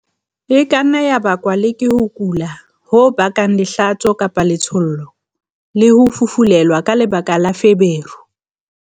E ka nna ya bakwa le ke ho kula ho bakang lehlatso-letshollo, le ho fufulelwa ka lebaka la feberu.